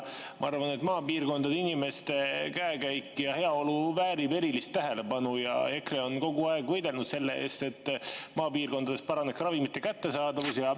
Ma arvan, et maapiirkondade inimeste käekäik ja heaolu väärib erilist tähelepanu, ja EKRE on kogu aeg võidelnud selle eest, et maapiirkondades paraneks ravimite kättesaadavus.